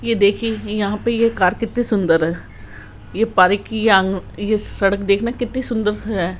ये देखिए यहां पे ये कार कितनी सुंदर है ये पार्क की ये सड़क देखना कितनी सुंदर है।